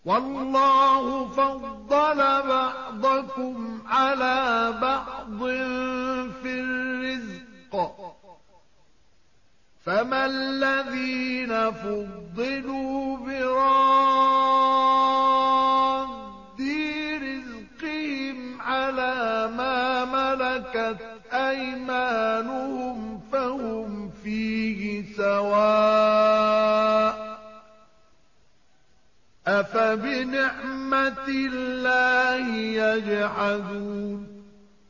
وَاللَّهُ فَضَّلَ بَعْضَكُمْ عَلَىٰ بَعْضٍ فِي الرِّزْقِ ۚ فَمَا الَّذِينَ فُضِّلُوا بِرَادِّي رِزْقِهِمْ عَلَىٰ مَا مَلَكَتْ أَيْمَانُهُمْ فَهُمْ فِيهِ سَوَاءٌ ۚ أَفَبِنِعْمَةِ اللَّهِ يَجْحَدُونَ